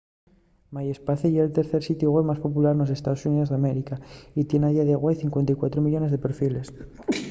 myspace ye’l tercer sitiu web más popular nos estaos xuníos d’américa y tien a día de güei 54 millones de perfiles